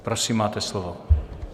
Prosím, máte slovo.